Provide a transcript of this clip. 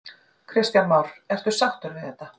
Kristján Már: Ertu sáttur við þetta?